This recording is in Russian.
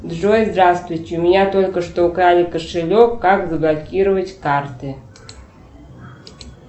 джой здравствуйте у меня только что украли кошелек как заблокировать карты